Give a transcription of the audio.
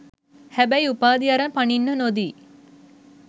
හැබැයි උපාධි අරන් පනින්න නොදී